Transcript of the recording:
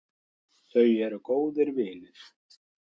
Þau eru góðir vinir